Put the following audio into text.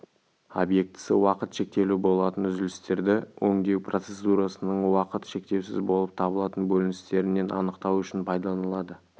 объектісі уақыт шектеулі болатын үзілістерді өңдеу процедурасының уақыт шектеусіз болып табылатын бөліністерінен анықтау үшін пайдаланылады